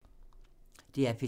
DR P3